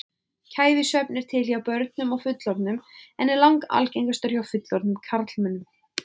Kæfisvefn er til hjá börnum og fullorðnum en er langalgengastur hjá fullorðnum karlmönnum.